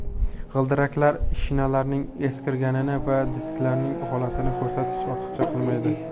G‘ildiraklar Shinalarning eskirganini va disklarning holatini ko‘rsatish ortiqchalik qilmaydi.